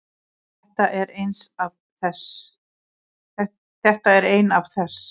Þetta er ein af þess